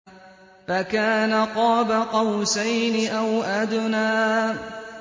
فَكَانَ قَابَ قَوْسَيْنِ أَوْ أَدْنَىٰ